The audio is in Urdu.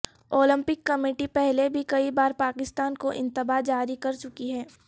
اولمپک کمیٹی پہلے بھی کئی بار پاکستان کو انتباہ جاری کر چکی ہے